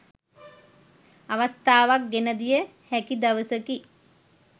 අවස්ථාවක් ගෙනදිය හැකි දවසකි.